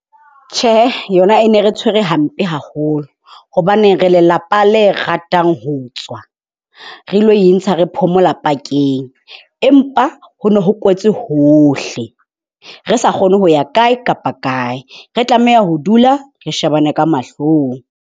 Tjhe, yona e ne re tshwere hampe haholo hobane re lelapa le ratang ho tswa, re lo intsha re phomola pakeng. Empa ho no ho kwetswe hohle re sa kgone ho ya kae kapa kae re tlameha ho dula re shebane ka mahlong.